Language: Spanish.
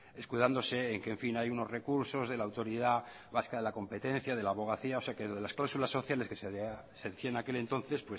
escudándose en que en fin hay unos recursos de la autoridad vasca de la competencia de la abogacía o sea que lo de las cláusulas sociales que se decía en aquel entonces